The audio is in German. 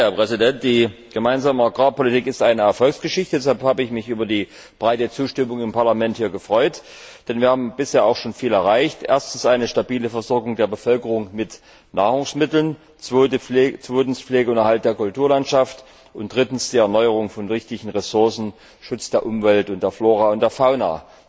Herr Präsident! Die Gemeinsame Agrarpolitik ist eine Erfolgsgeschichte. Deshalb habe ich mich über die breite Zustimmung im Parlament gefreut, denn wir haben bisher schon viel erreicht erstens eine stabile Versorgung der Bevölkerung mit Nahrungsmitteln, zweitens Pflege und Erhalt der Kulturlandschaft und drittens die Erneuerung von wichtigen Ressourcen, Schutz der Umwelt und der Flora und Fauna.